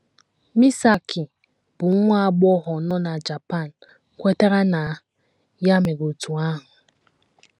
Misaki, bụ́ nwa agbọghọ nọ na Japan, kwetara na ya mere otú ahụ.